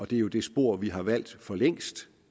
det er jo det spor vi har valgt for længst